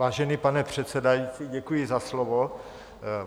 Vážený pane předsedající, děkuji za slovo.